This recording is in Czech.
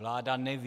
Vláda neví.